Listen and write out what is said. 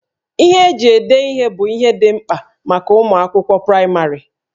Ihe eji ede ihe bụ ihe dị mkpa maka ụmụ akwụkwọ praịmarị